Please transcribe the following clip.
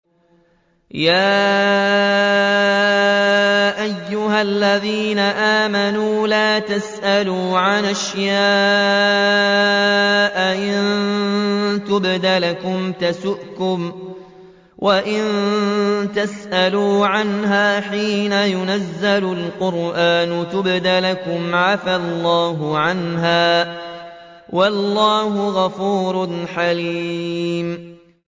يَا أَيُّهَا الَّذِينَ آمَنُوا لَا تَسْأَلُوا عَنْ أَشْيَاءَ إِن تُبْدَ لَكُمْ تَسُؤْكُمْ وَإِن تَسْأَلُوا عَنْهَا حِينَ يُنَزَّلُ الْقُرْآنُ تُبْدَ لَكُمْ عَفَا اللَّهُ عَنْهَا ۗ وَاللَّهُ غَفُورٌ حَلِيمٌ